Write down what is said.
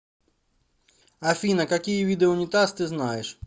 афина какие виды унитаз ты знаешь